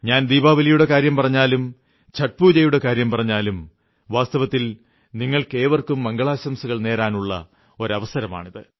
ഞാൻ ദീപാവലിയുടെ കാര്യം പറഞ്ഞാലും ഛഠ് പൂജയുടെ കാര്യം പറഞ്ഞാലും വാസ്തവത്തിൽ നിങ്ങൾക്കേവർക്കും മംഗളാശംസകൾ നേരാനുള്ള അവസരമാണിത്